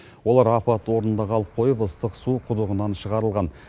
олар апат орнында қалып қойып ыстық су құдығынан шығарылған